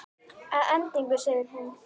Að endingu segir hún